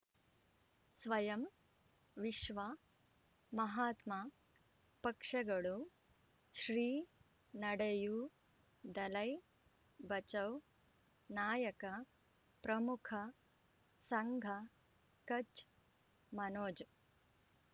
ಸ್ವಯಂ ವಿಶ್ವ ಮಹಾತ್ಮ ಪಕ್ಷಗಳು ಶ್ರೀ ನಡೆಯೂ ದಲೈ ಬಚೌ ನಾಯಕ ಪ್ರಮುಖ ಸಂಘ ಕಚ್ ಮನೋಜ್